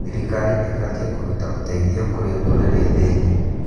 Thirikari ĩbatiĩ kũruta ũteithio kũrĩ ndũrĩrĩ thĩni.